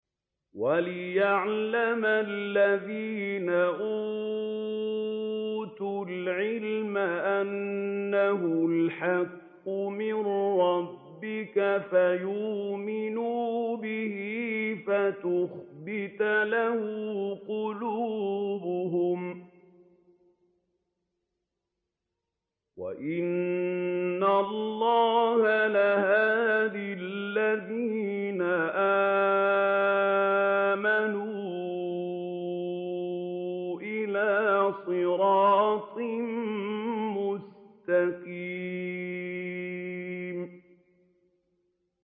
وَلِيَعْلَمَ الَّذِينَ أُوتُوا الْعِلْمَ أَنَّهُ الْحَقُّ مِن رَّبِّكَ فَيُؤْمِنُوا بِهِ فَتُخْبِتَ لَهُ قُلُوبُهُمْ ۗ وَإِنَّ اللَّهَ لَهَادِ الَّذِينَ آمَنُوا إِلَىٰ صِرَاطٍ مُّسْتَقِيمٍ